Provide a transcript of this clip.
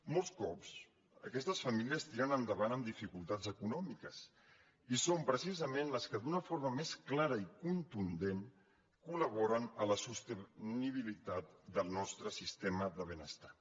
molts cops aquestes famílies tiren endavant amb dificultats econòmiques i són precisament les que d’una forma més clara i contundent col·laboren a la sostenibilitat del nostre sistema de benestar